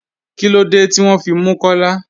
Kílódé tí wọn fí mú Kọ́là?